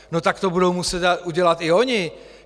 No tak to budou muset udělat i oni.